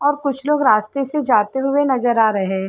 और कुछ लोग रास्ते से जाते हुए नजर आ रहे हैं।